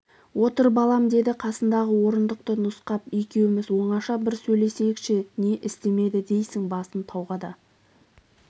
отыр балам деді қасындағы орындықты нұсқап екеуіміз оңаша бір сөйлесейкш не істемеді дейсің басын тауға да